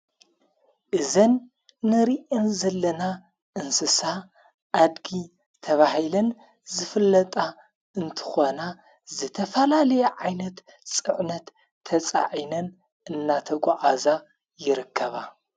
እዘን ንርእን ዘለና እንስሳ ኣድጊ ተብሂልን ዘፍለጣ እንትኾና ዘተፋላልየ ዓይነት ጽዕነት ተጻዒነን እናተ ጐዓዛ ይረከባ።